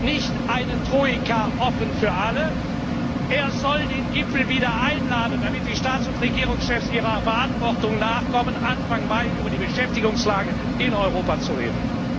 Nicht eine Troika, sondern offen für alle! Er soll den Gipfel wieder einladen, damit die Staats und Regierungschefs ihrer Verantwortung nachkommen, Anfang Mai über die Beschäftigungslage in Europa zu reden.